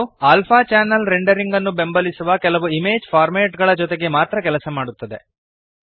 ಇದು alpha channel rendering ನ್ನು ಬೆಂಬಲಿಸುವ ಕೆಲವು ಇಮೇಜ್ ಫಾರ್ಮ್ಯಾಟ್ ಗಳ ಜೊತೆಗೆ ಮಾತ್ರ ಕೆಲಸ ಮಾಡುತ್ತದೆ